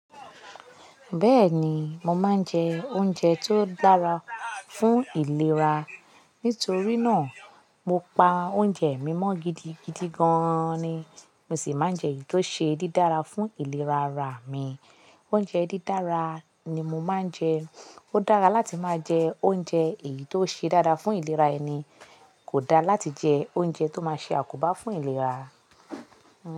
Bẹ́ẹ̀ni, mo máa ń jẹ oúnjẹ tó dára fún ìlera. Nítorí náà, mo pa oúnjẹ mi mọ́ gidigidi gan-an ni. Mo sì máa ń jẹ èyí tó ṣe dídára fún ìlera ara mi. Oúnjẹ dídára ni mo máa ń jẹ. Ó dára láti máa jẹ oúnjẹ èyí tó ṣe dára fún ìlera ẹni. Kò dára láti jẹ oúnjẹ tó máa ṣe àkóbá fún ìlera.